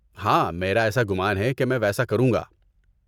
ہاں، میرا ایسا گمان ہے کہ میں ویسا کروں گا۔